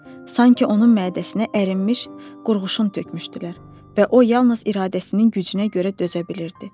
Sanki onun mədəsinə ərinmiş qurğuşun tökmüşdülər və o yalnız iradəsinin gücünə görə dözə bilirdi.